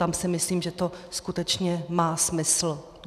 Tam si myslím, že to skutečně má smysl.